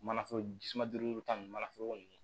Mana foroko ta nun mana foroko